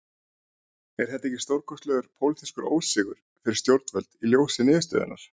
Er þetta ekki stórkostlegur pólitískur ósigur fyrir stjórnvöld í ljósi niðurstöðunnar?